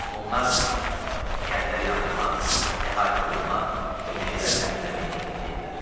Onlar kəndləri yandırmaq, əhalini qırmaq və meşələri təmizləmək niyyətində idilər.